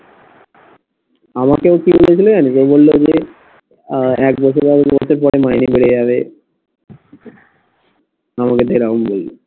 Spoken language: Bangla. আমাকে ও কি বলেছিলো জানিস যে বললো যে আহ এক বছরের মধ্যে মাইনে বেড়ে হবে